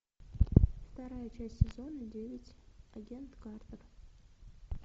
вторая часть сезона девять агент картер